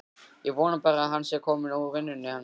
Ég vona bara að hann sé kominn úr vinnunni, hann.